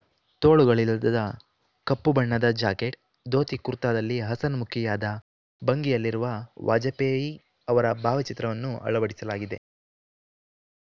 ತೋಳುಗಳಿಲ್ಲದ ಕಪ್ಪು ಬಣ್ಣದ ಜಾಕೆಟ್‌ ದೋತಿಕುರ್ತಾದಲ್ಲಿ ಹಸನ್ಮುಖಿಯಾದ ಭಂಗಿಯಲ್ಲಿರುವ ವಾಜಪೇಯಿ ಅವರ ಭಾವಚಿತ್ರವನ್ನು ಅಳವಡಿಸಲಾಗಿದೆ